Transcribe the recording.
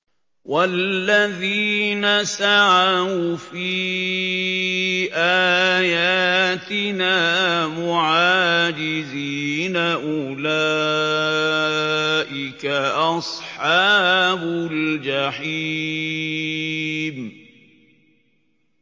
وَالَّذِينَ سَعَوْا فِي آيَاتِنَا مُعَاجِزِينَ أُولَٰئِكَ أَصْحَابُ الْجَحِيمِ